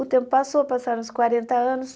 O tempo passou, passaram-se quarenta anos.